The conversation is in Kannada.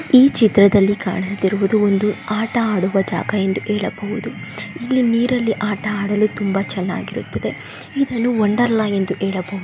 ಈ ಚಿತ್ರದಲ್ಲಿ ಕಾಣಿಸುತ್ತಿರುವುದು ಒಂದು ಆಟ ಆಡುವ ಜಾಗ ಎಂದು ಹೇಳಬಹುದು ಇಲ್ಲಿ ನಿರಲ್ಲಿ ಆಟ ಆಡಲು ತುಂಬಾ ಚೆನ್ನಾಗಿರುತ್ತದೆ ಇದನ್ನು ವಂಡರ್ಲಾ ಎಂದು ಹೆಳಬಹುದು .